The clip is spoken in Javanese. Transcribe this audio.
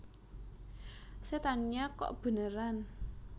Setannya Kok Beneran